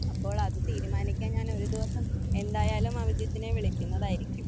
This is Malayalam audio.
അപ്പോൾ അത് തീരുമാനിക്കാൻ ഞാനൊരു ദിവസം എന്തായാലും അഭിജിത്തിനെ വിളിക്കുന്നതായിരിക്കും.